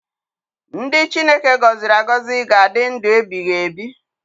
Ndị Chineke gọziri agọzi ga-adị ndụ ebighịebi.